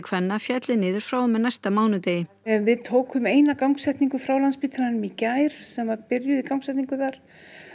kvenna félli niður frá og með næsta mánudegi við tókum eina gangsetningu frá Landspítalanum í gær sem var byrjuð í gangsetningu þar